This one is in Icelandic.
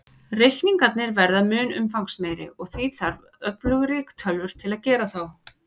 Reikningarnir verða mun umfangsmeiri, og því þarf öflugri tölvur til að gera þá.